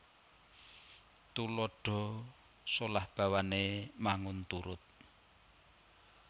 Tuladha solah bawané mbangun turut